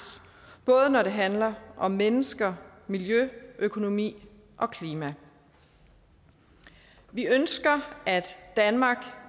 både når det handler om mennesker miljø økonomi og klima vi ønsker at danmark